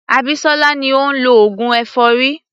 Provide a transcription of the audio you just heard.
Abisola ni ó ń lọ oògùn èfọ́rí.